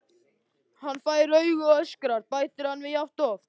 Hann fær augu og öskrar, bætir hann við jafn oft.